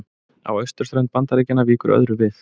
Á austurströnd Bandaríkjanna víkur öðru við.